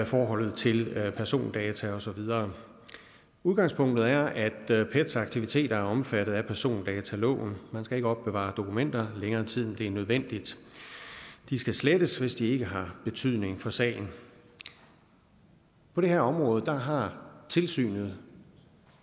forholdet til persondata og så videre udgangspunktet er at pets aktiviteter er omfattet af persondataloven man skal ikke opbevare dokumenter i længere tid end nødvendigt de skal slettes hvis de ikke har betydning for sagen på det her område har tilsynet